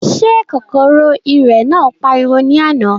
Ṣé kòkòrò ìrẹ̀ náà pariwo ní àná?